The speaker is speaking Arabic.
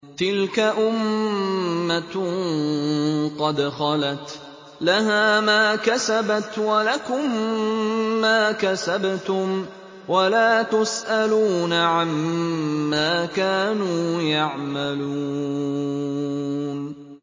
تِلْكَ أُمَّةٌ قَدْ خَلَتْ ۖ لَهَا مَا كَسَبَتْ وَلَكُم مَّا كَسَبْتُمْ ۖ وَلَا تُسْأَلُونَ عَمَّا كَانُوا يَعْمَلُونَ